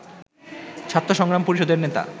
ছাত্রসংগ্রাম পরিষদের নেতা